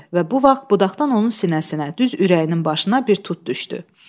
Və bu vaxt budaqdan onun sinəsinə, düz ürəyinin başına bir tut düşdü.